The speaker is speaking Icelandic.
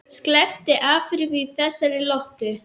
Sleppti Afríku í þessari lotu.